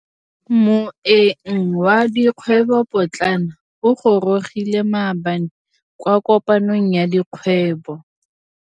Moêng wa dikgwêbô pôtlana o gorogile maabane kwa kopanong ya dikgwêbô.